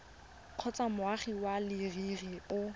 kgotsa moagi wa leruri o